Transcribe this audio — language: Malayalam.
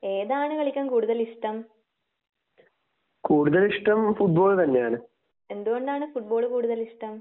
ഏതാണ് കളിക്കാൻ കൂടുതൽ ഇഷ്ട്ടം? എന്ത് കൊണ്ടാണ് ഫുട്ബാൾ കൂടുതൽ ഇഷ്ടം?